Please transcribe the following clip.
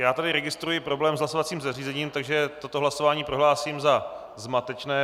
Já tady registruji problém s hlasovacím zařízením, takže toto hlasování prohlásím za zmatečné.